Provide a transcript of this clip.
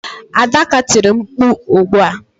Adaka tiri mkpu ugbu a.